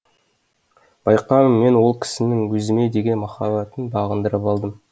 байқаймын мен ол кісінің өзіме деген махаббатын бағындырып алдым